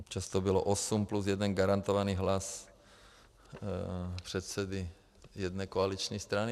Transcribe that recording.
Občas to bylo osm plus jeden garantovaný hlas předsedy jedné koaliční strany.